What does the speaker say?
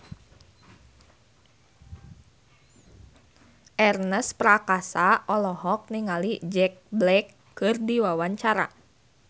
Ernest Prakasa olohok ningali Jack Black keur diwawancara